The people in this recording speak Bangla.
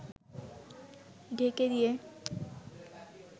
ঢেকে দিয়ে